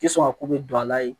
I tɛ sɔn ka ko bɛɛ don a la yen